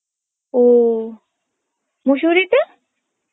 ও মুসৌরিতে?